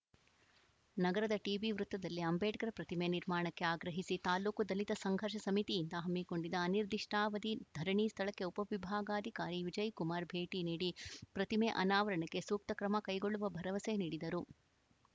ನಗರದ ಟಿಬಿ ವೃತ್ತದಲ್ಲಿ ಅಂಬೇಡ್ಕರ್‌ ಪ್ರತಿಮೆ ನಿರ್ಮಾಣಕ್ಕೆ ಆಗ್ರಹಿಸಿ ತಾಲೂಕು ದಲಿತ ಸಂಘರ್ಷ ಸಮಿತಿಯಿಂದ ಹಮ್ಮಿಕೊಂಡಿದ್ದ ಅನಿರ್ದಿಷ್ಟಾವಧಿ ಧರಣಿ ಸ್ಥಳಕ್ಕೆ ಉಪವಿಭಾಗಾಧಿಕಾರಿ ವಿಜಯಕುಮಾರ್‌ ಭೇಟಿ ನೀಡಿ ಪ್ರತಿಮೆ ಅನಾವರಣಕ್ಕೆ ಸೂಕ್ತ ಕ್ರಮಕೈಗೊಳ್ಳುವ ಭರವಸೆ ನೀಡಿದರು